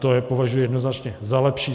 To považuji jednoznačně za lepší.